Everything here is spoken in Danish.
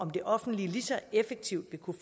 at kunne